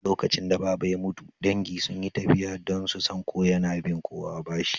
Lokacin da Baba ya mutu, dangi sun yi tafiya don su san ko yana bin kowa bashi